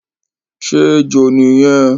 Ṣé ejò ni yẹn?